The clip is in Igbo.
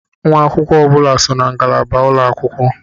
Nwa akwụkwọ ọ bụla so na ngalaba ulọ akwụkwọ.